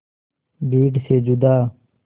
भीड़ से जुदा